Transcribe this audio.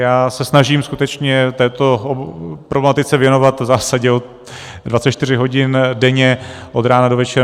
Já se snažím skutečně této problematice věnovat v zásadě 24 hodin denně, od rána do večera.